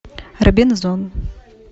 робинзон